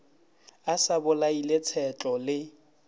a sa bolaile tshetlo le